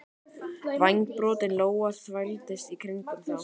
Vængbrotin lóa þvældist í kringum þá.